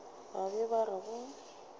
ba be ba re go